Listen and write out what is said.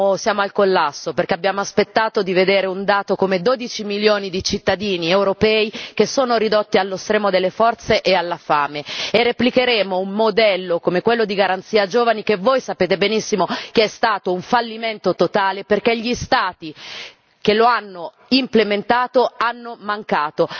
Siamo al collasso, perché abbiamo aspettato di vedere un dato come 12 milioni di cittadini europei che sono ridotti allo stremo delle forze e alla fame, e replicheremo un modello come quello della garanzia per i giovani, che voi sapete benissimo che è stato un fallimento totale perché gli Stati che lo hanno implementato hanno mancato.